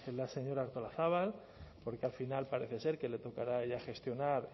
la señora artolazabal porque al final parece ser que le tocará a ella gestionar